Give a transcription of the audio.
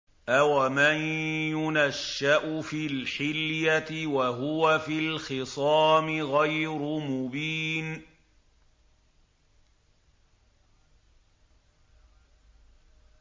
أَوَمَن يُنَشَّأُ فِي الْحِلْيَةِ وَهُوَ فِي الْخِصَامِ غَيْرُ مُبِينٍ